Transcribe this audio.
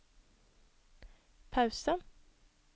pause